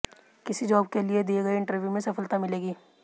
किसी जॉब के लिए दिए गए इंटरव्यू में सफलता मिलेगी